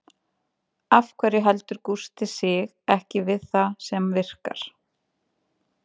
Af hverju heldur Gústi sig ekki við það sem virkar?